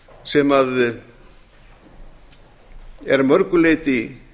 sem er að mörgu leyti